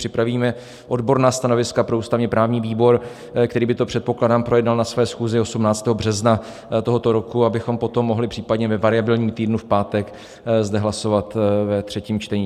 Připravíme odborná stanoviska pro ústavně-právní výbor, který by to předpokládám projednal na své schůzi 18. března tohoto roku, abychom potom mohli případně ve variabilním týdnu v pátek zde hlasovat ve třetím čtení.